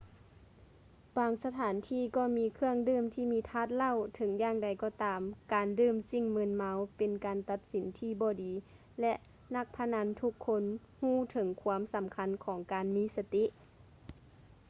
ບາງສະຖານທີ່ກໍມີເຄື່ອງດື່ມທີ່ມີທາດເຫຼົ້າ ເຖິງຢ່າງໃດກໍຕາມ ການດື່ມສິ່ງມຶນເມົາເປັນການຕັດສິນທີ່ບໍ່ດີ ແລະ ນັກພະນັນທຸກຄົນຮູ້ເຖິງຄວາມສຳຄັນຂອງການມີສະຕິ